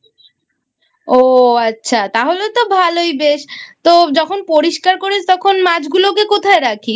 ও আচ্ছা তাহলে তো ভালোই বেশ তো যখন পরিষ্কার করিস তখন মাছগুলোকে কোথায় রাখিস?